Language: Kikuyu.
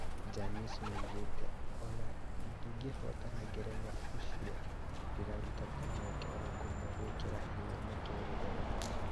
Janice nĩoigĩte "ona ngĩhotanaga ngerenwa, ũcio ndĩraruta ta mweke wa ngumo gwĩkĩra hinya mũtũrire wakwa"